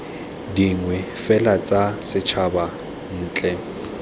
dingwe fela tsa setshaba ntle